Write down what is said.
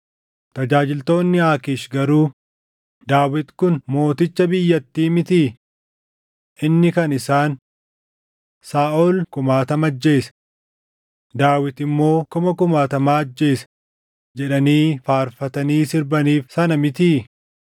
Tajaajiltoonni Aakiish garuu, “Daawit kun mooticha biyyattii mitii?” Inni kan isaan: “ ‘Saaʼol kumaatama ajjeese; Daawit immoo kuma kumaatama ajjeese’ jedhanii faarfatanii sirbaniif sana mitii?”